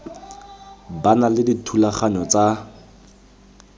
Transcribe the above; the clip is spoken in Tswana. ba na le dithulaganyo tsa